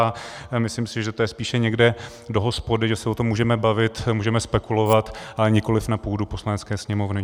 A myslím si, že to je spíše někde do hospody, že se o tom můžeme bavit, můžeme spekulovat, ale nikoli na půdu Poslanecké sněmovny.